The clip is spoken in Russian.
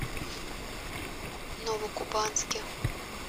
новокубанске